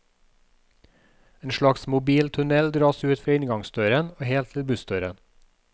En slags mobil tunnel dras ut fra inngangsdøren og helt til bussdøren.